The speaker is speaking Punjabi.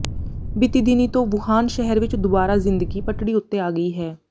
ਬੀਤੀ ਦਿਨੀਂ ਤੋਂ ਵੁਹਾਨ ਸ਼ਹਿਰ ਵਿਚ ਦੁਆਰਾ ਜ਼ਿੰਦਗੀ ਪਟੜੀ ਉੱਤੇ ਆ ਗਈ ਹੈ